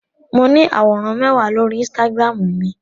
Mo ní àwòrán mẹ́wàá lórí Instagram mi.